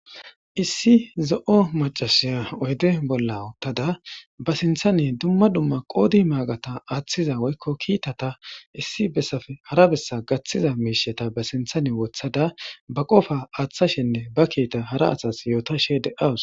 Issi zo'o maccassiya oydde bolla uttada ba sinththanni dumma dumma qode maggata attiza woyko kittatta issi bessappe hara bessa gattiza mishshetta ba sinththen woththada ba qofa attishinne ba kiita hara asas yootashe de'awus.